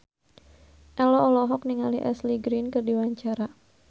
Ello olohok ningali Ashley Greene keur diwawancara